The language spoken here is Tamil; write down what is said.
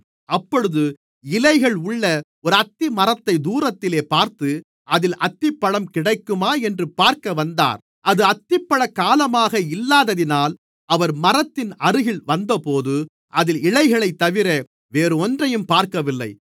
அப்பொழுது இலைகள் உள்ள ஒரு அத்திமரத்தைத் தூரத்திலேப் பார்த்து அதில் அத்திப்பழம் கிடைக்குமா என்று பார்க்க வந்தார் அது அத்திப்பழக் காலமாக இல்லாததினால் அவர் மரத்தின் அருகில் வந்தபோது அதில் இலைகளைத்தவிர வேறொன்றையும் பார்க்கவில்லை